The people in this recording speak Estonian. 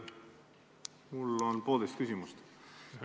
Mul on poolteist küsimust.